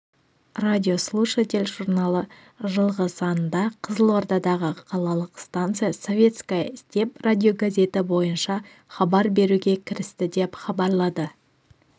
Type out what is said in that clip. радиослушатель журналы жылғы санында қызылордадағы қалалық станция советская степь радиогазеті бойынша хабар беруге кірісті деп хабарлады